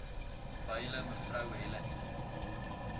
wyle me helen